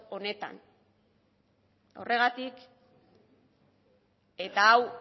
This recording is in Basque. honetan horregatik eta hau